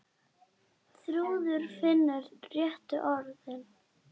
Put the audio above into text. Þrúður finnur réttu orðin.